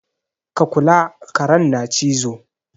Ka kula! karen na cizo.